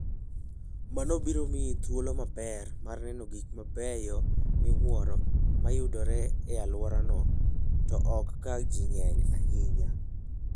Mano biro miyi thuolo maber mar neno gik mabeyo miwuoro ma yudore e alworano, to ok ka ji ng'eny ahinya.